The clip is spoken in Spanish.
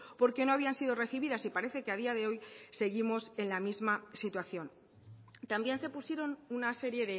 porque no habían sido recibidas y parece que a día de hoy seguimos en la misma situación también se pusieron una serie